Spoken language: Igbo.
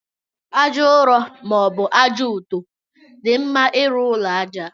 Aja nrọ ma ọbu aja ọtọ di mma irụ ụlọ aja.